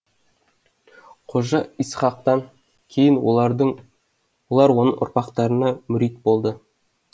қожа исхақтан кейін олар оның ұрпақтарына мүрит болды